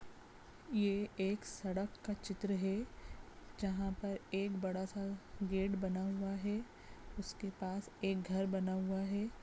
ये एक सड़क का चित्र है जहां पर एक बड़ा सा गेट बना हुआ है उसके पास एक घर बना हुआ है।